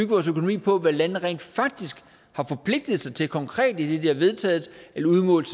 vores økonomi på hvad landene rent faktisk har forpligtet sig til konkret idet de har vedtaget at udmåle